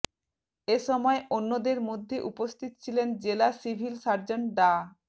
এ সময় অন্যদের মধ্যে উপস্থিত ছিলেন জেলা সিভিল সার্জন ডা